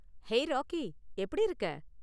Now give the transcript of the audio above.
Hey, Rocky. எப்படி இருக்க?